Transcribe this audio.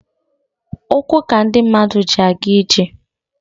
Ụkwụ ka ndị mmadụ ji aga ije.